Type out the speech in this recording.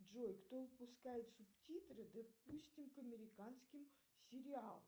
джой кто выпускает субтитры допустим к американским сериалам